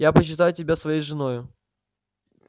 я почитаю тебя своею женою